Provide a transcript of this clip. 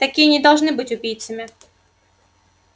такие не должны быть убийцами